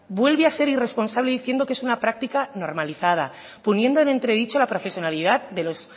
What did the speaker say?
vuelve a ser irresponsable diciendo que es una práctica normalizada poniendo en entredicho la profesionalidad de los